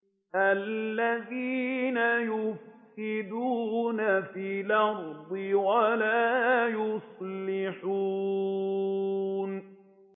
الَّذِينَ يُفْسِدُونَ فِي الْأَرْضِ وَلَا يُصْلِحُونَ